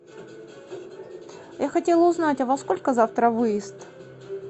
я хотела узнать а во сколько завтра выезд